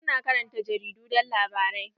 Wasu na karanta jaridu don labarai.